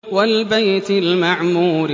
وَالْبَيْتِ الْمَعْمُورِ